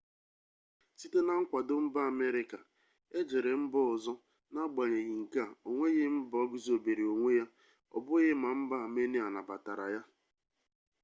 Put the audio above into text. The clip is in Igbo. site na nkwado mba amerịka ejere mba ọzọ n'agbanyeghị nke a onweghị mba guzobere onwe ya ọbughị ma mba amenia nabatara ya